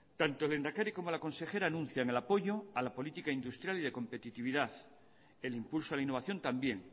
tanto el lehendakari como la consejera anuncian el apoyo a la política industrial y de competitividad el impulso a la innovación también